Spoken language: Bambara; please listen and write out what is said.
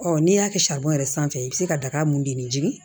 Ɔ n'i y'a kɛ sanfɛ i bɛ se ka daga mun denni jigin